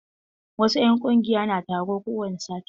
Wasu 'yan ƙungiya na taro kowani sati.